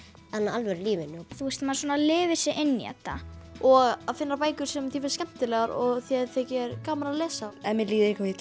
alvöru lífinu þú veist maður svona lifir sig inn í þetta og að finna bækur sem þér finnst skemmtilegar og þér þykir gaman að lesa ef mér líður eitthvað illa